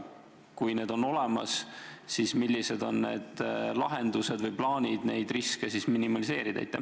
Kui need on olemas, siis millised on lahendused või plaanid riske minimeerida?